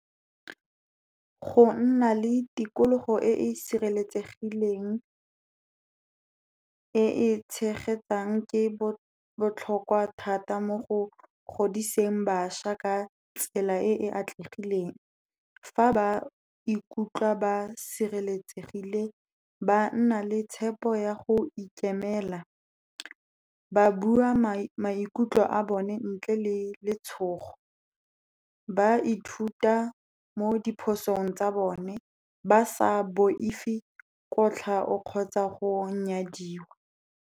Go nna le tikologo e e sireletsegileng, e e tshegetsang ke botlhokwa thata mo go godiseng bašwa ka tsela e e atlegileng. Fa ba ikutlwa ba sireletsegile, ba nna le tshepo ya go ikemela, ba bua maikutlo a bone ntle le letshogo, ba ithuta mo diphosong tsa bone ba sa boifi kotlhao kgotsa go nyadiwa.